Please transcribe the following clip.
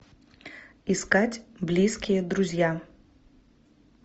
искать близкие друзья